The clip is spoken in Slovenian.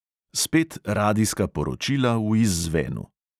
Spet radijska poročila v izzvenu...